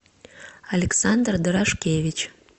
александр дорошкевич